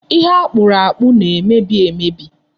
Ihe akpụrụ akpụ na-emebi emebi.